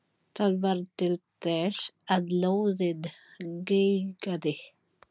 Það varð til þess að lóðið geigaði.